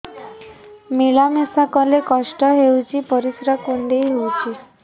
ମିଳା ମିଶା କଲେ କଷ୍ଟ ହେଉଚି ପରିସ୍ରା କୁଣ୍ଡେଇ ହଉଚି